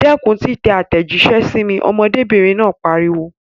Dẹ́kun títẹ àtẹ̀jíṣẹ́ sí mi! Ọmọdébìnrin náà pariwo.